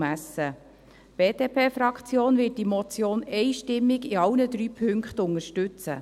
Die BDP-Fraktion wird diese Motion einstimmig in allen drei Punkten unterstützen.